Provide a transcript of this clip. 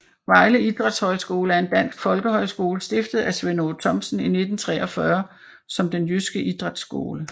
Vejle Idrætshøjskole er en dansk folkehøjskole stiftet af Svend Aage Thomsen i 1943 som Den Jyske Idrætsskole